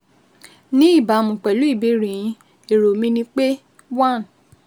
Ní ìbámu pẹ̀lú ìbéèrè yín, èrò mi ni pé: 1